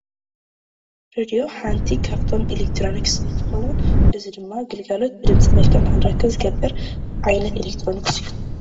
ሬድዮ ሓንቲ ካብቶም ኤሌክትሮኒክስ እንትትከውን እዚ ድማ ግልጋሎት ብድምፂ መልክዕ ንክንረክብ ዝገብር ዓይነት ኤሌክትሮኒክስ እዩ።